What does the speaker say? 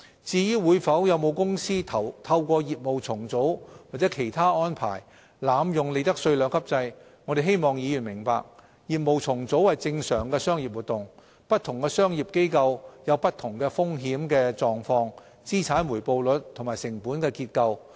至於會否有公司透過業務重組或其他安排濫用利得稅兩級制，我們希望議員明白，業務重組是正常的商業活動，不同商業機構有不同的風險狀況、資產回報率和成本結構。